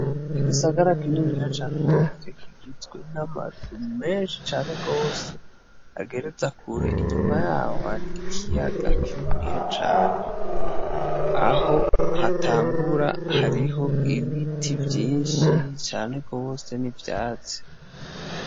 Igisagara kininiya cane gose kigizwe n;amazu menshi cane gose agereza kure, inyuma yaho hari ikiyaga kininiya cane aho hatangura hariho ibiti vyinshi cane gose n'ivyatsi.